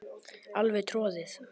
Alveg troðið.